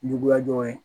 Juguya jɔyɔrɔ ye